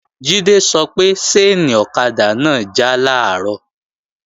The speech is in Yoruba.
Jídé sọ pé ṣáìnì ọ̀kadà náà já làárọ̀